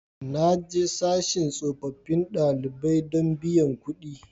Na je sashin tsofaffin ɗalibai don biyan kuɗi